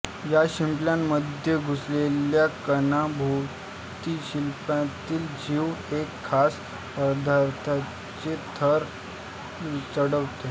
या शिंपल्यामध्ये घुसलेल्या कणाभोवती शिंपल्यातील जीव एका खास पदार्थाचे थर चढवतो